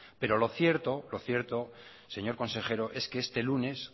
pero lo cierto señor consejero es que este lunes